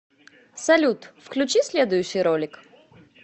салют включи следующий ролик